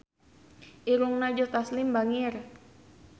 Irungna Joe Taslim bangir